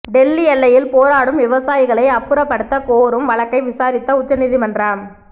டெல்லி எல்லையில் போராடும் விவசாயிகளை அப்புறப்படுத்த கோரும் வழக்கை விசாரித்த உச்சநீதிமன்றம்